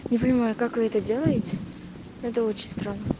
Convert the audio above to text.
любимая как вы это делаете это отчество